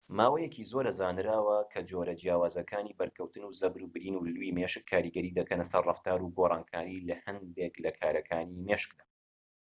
ماوەیەکی زۆرە زانراوە کە جۆرە جیاوازەکانی بەرکەوتن و زەبر و برین و لووی مێشك کاریگەری دەکەن سەر ڕەفتار و گۆرانکاری لە هەندێك لە کارەکانی مێشكدا